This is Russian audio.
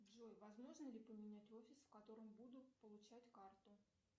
джой возможно ли поменять офис в котором буду получать карту